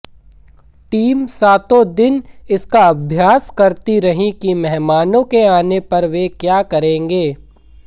team सातों दिन इसका अभ्यास करती रही कि मेहमानों के आने पर वे क्या करेंगे